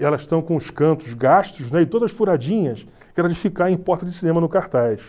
Elas estão com os cantos gastos , né, e todas furadinhas, que era de ficar em porta de cinema no cartaz.